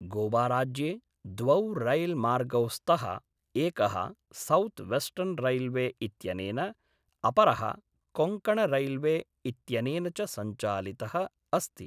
गोवाराज्ये द्वौ रैल्मार्गौ स्तः, एकः सौथ् वेस्टर्न् रैल्वे इत्यनेन, अपरः कोङ्कणरैल्वे इत्यनेन च सञ्चालितः अस्ति।